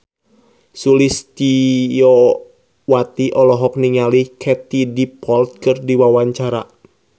Sulistyowati olohok ningali Katie Dippold keur diwawancara